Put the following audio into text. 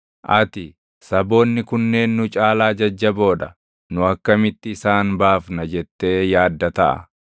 Ati, “Saboonni kunneen nu caalaa jajjaboo dha; nu akkamitti isaan baafna?” jettee yaadda taʼa.